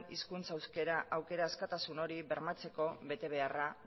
hizkuntza euskera aukera askatasun hori bermatzeko betebeharra